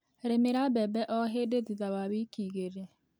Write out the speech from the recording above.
Rĩmĩra mbembe o hĩndĩ thutha wa wiki igĩrĩ.